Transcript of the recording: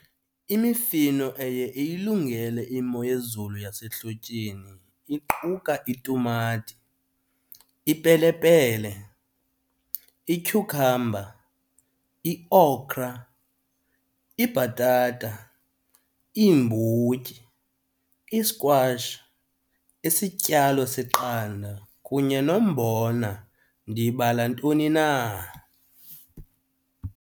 Imifino eye iyilungele imo yezulu yasehlotyeni iquka itumati, ipelepele, ityhukhamba, iokra, ibhatata, iimbotyi, iskwashi, isityalo seqanda kunye nombona, ndibala ntoni na.